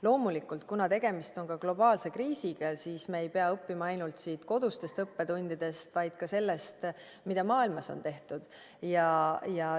Loomulikult, kuna tegemist on globaalse kriisiga, siis me ei pea õppima ainult kodustest õppetundidest, vaid ka sellest, mida maailmas on tehtud.